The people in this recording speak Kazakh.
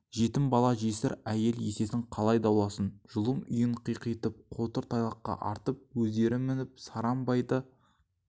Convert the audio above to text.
жетім бала жесір әйел есесін қалай дауласын жұлым үйін қиқитып қотыр тайлаққа артып өздері мініп сараң байды